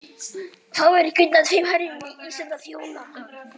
Fáir kunna tveim herrum í senn að þjóna.